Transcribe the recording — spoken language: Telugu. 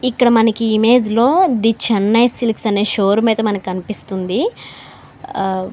ఇక్కడ మనకి ఈ ఇమేజ్ లో ది చెన్నై సిల్క్స్ అనే షోరూమ్ అయితే మనకు కనిపిస్తుంది. ఆ--